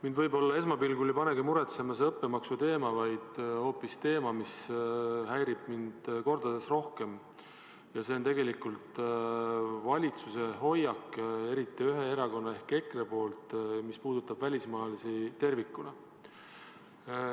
Mind võib-olla esmapilgul ei panegi muretsema õppemaksu teema, vaid hoopis üks teine teema, mis häirib mind kordades rohkem – see on valitsuse hoiak, eriti ühe erakonna ehk EKRE hoiak, mis puudutab välismaalasi tervikuna.